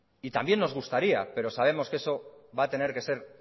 y también nos gustaría pero sabemos que eso va a tener que ser